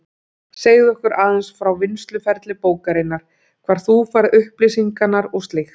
Segðu okkur aðeins frá vinnsluferli bókarinnar, hvar þú færð upplýsingarnar og slíkt.